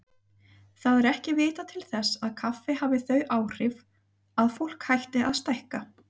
Það er ekki vitað til þess kaffi hafi þau áhrif að fólk hætti að stækka.